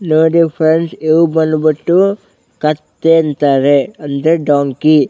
ನೋಡಿ ಫ್ರೆಂಡ್ಸ್ ಇವು ಬಂದ್ಬಿಟ್ಟು ಕತ್ತೆ ಅಂತಾರೆ ಅಂದ್ರೆ ಡೊಂಕಿ .